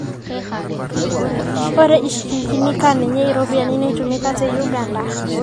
ore ishikingini kaa ninye iropiani naatumika te Uganda